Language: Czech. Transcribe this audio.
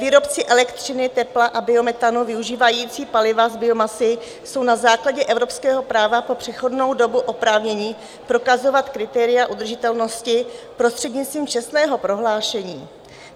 Výrobci elektřiny, tepla a biometanu využívající paliva z biomasy jsou na základě evropského práva po přechodnou dobu oprávněni prokazovat kritéria udržitelnosti prostřednictvím čestného prohlášení.